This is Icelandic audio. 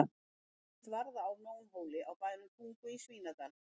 Hér sést varða á Nónholti á bænum Tungu í Svínadal.